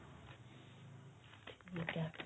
ਠੀਕ ਏ